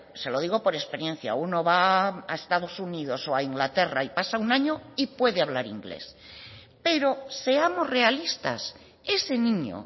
se lo digo por experiencia uno va a estados unidos o a inglaterra y pasa un año y puede hablar inglés pero seamos realistas ese niño